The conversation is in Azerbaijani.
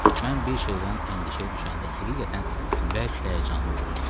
Mən bir şeydən əndişəyə düşəndə həqiqətən bərk həyəcanlı oluram.